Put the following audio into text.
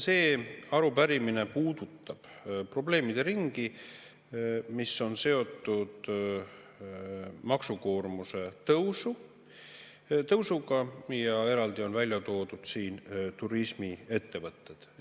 See arupärimine puudutab probleemide ringi, mis on seotud maksukoormuse tõusuga, ja eraldi on välja toodud turismiettevõtted.